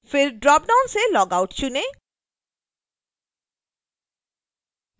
फिर dropdown से log out चुनें